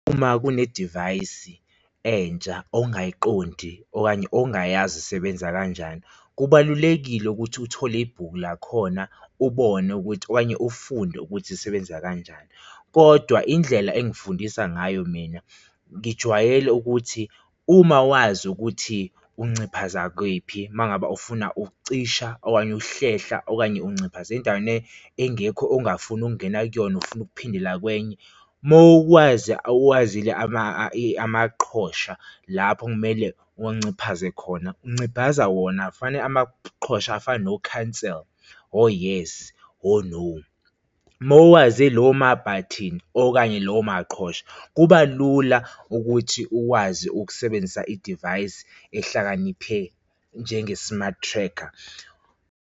Uma kunedivayisi entsha ongayiqondi okanye ongayazi isebenza kanjani, kubalulekile ukuthi uthole ibhuku lakhona, ubone ukuthi okanye ufunde ukuthi isebenza kanjani. Kodwa indlela engifundisa ngayo mina ngijwayele ukuthi uma wazi ukuthi unciphaza kephi uma ngaba ufuna ukucisha okanye ukuhlehla okanye unciphaze endawo engekho ongafuni ukungena kuyona, ufuna ukuphindela kwenye, uma ukwazi ukwazile amaqhosha lapho okumele uwanciphaze khona, unciphaza wona fane amaqhosha afana no-cancel, o-yes, o-no, uma waze lowo mabhathini okanye lowo maqhosha kuba lula ukuthi ukwazi ukusebenzisa idivayisi ehlakaniphe njenge-smart tracker.